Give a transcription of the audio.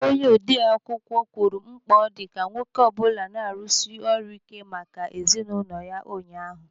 Onye odee akwụkwọ mkpa ọ dị ka nwoke ọ bụla na-arụsi ọrụ ike maka ezinụlọ ya ụnyaahụ.